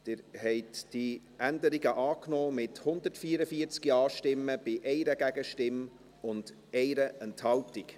Sie haben diese Änderungen angenommen, mit 144 Ja-Stimmen bei 1 Gegenstimme und 1 Enthaltung.